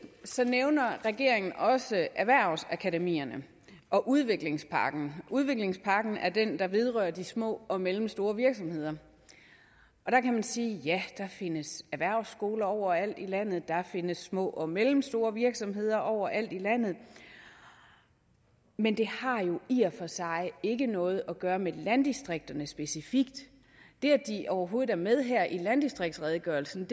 nævner regeringen også erhvervsakademierne og udviklingspakken udviklingspakken er den der vedrører de små og mellemstore virksomheder der kan man sige at ja der findes erhvervsskoler overalt i landet der findes små og mellemstore virksomheder overalt i landet men det har jo i og for sig ikke noget at gøre med landdistrikterne specifikt det at de overhovedet er med her i landdistriktsredegørelsen